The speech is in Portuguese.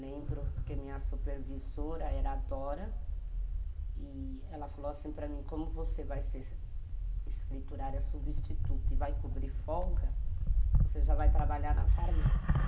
Lembro, porque minha supervisora era adora e ela falou assim para mim, como você vai ser escriturária substituta e vai cobrir folga, você já vai trabalhar na farmácia.